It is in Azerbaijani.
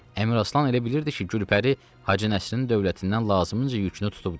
Əmiraslan elə bilirdi ki, Gülpəri Hacı Nəsrinin dövlətindən lazımınca yükünü tutubdu.